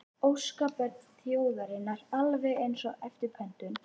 Óskabörn þjóðarinnar, alveg eins og eftir pöntun